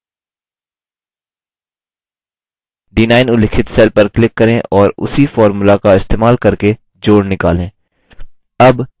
d9 उल्लिखित cell पर click करें और उसी formula का इस्तेमाल करके जोड़ निकालें